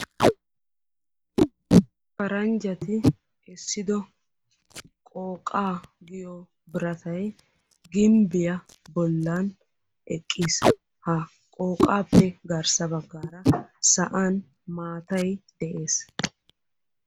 Paranjjati essido qooqaa giyo biratay gimbbiya bollan eqqiis. Ha qooqaappe garssa baggaara sa'an maatay de'ees.